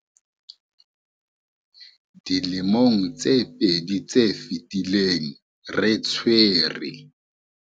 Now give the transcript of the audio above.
Dilemong tse pedi tse fetileng, re tshwere